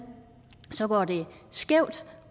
går det skævt